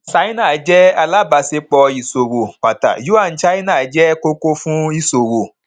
ṣáínà jẹ alábàṣepọ ìṣòwò pátá yuan china jẹ kókó fún ìṣòwò